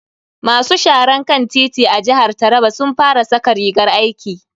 Masu sharan kan titi a jihar taraba sun fara saka rigar aiki.